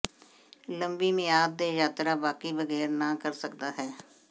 ਲੰਬੀ ਮਿਆਦ ਦੇ ਯਾਤਰਾ ਬਾਕੀ ਬਗੈਰ ਨਾ ਕਰ ਸਕਦਾ ਹੈ